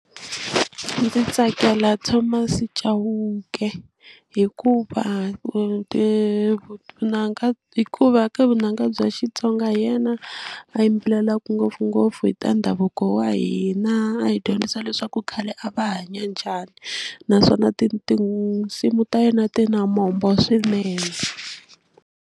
Ndzi tsakela Thomas Chauke hikuva vunanga hikuva ka vunanga bya Xitsonga hi yena a yimbelelaku ngopfungopfu hi ta ndhavuko wa hina a hi dyondzisa leswaku khale a va hanya njhani naswona tinsimu ta yena ti na mombo swinene.